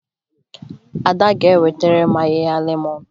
Ada ga-ewetara m ahịhịa lemọn